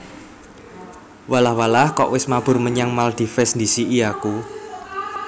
Walah walah kok wes mabur menyang Maldives ndhisiki aku